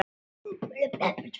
Annað hefur komið á daginn.